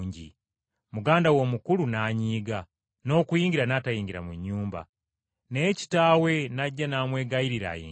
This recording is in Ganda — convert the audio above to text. “Muganda we omukulu n’anyiiga, n’okuyingira n’atayingira mu nnyumba. Naye kitaawe n’ajja n’amwegayirira ayingire,